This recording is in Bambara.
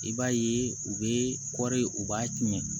I b'a ye u bɛ kɔri u b'a tiɲɛ